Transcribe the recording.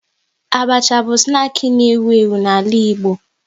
Abacha bụ snaki na ewu ewu n'ala Igbo